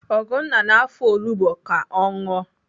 Ugonna na-afọ olugbo ka ọ ṅụọ